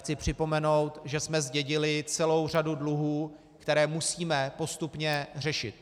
Chci připomenout, že jsme zdědili celou řadu dluhů, které musíme postupně řešit.